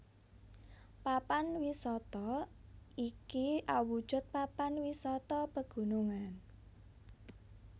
Papan wisata iki awujud papan wisata pegunungan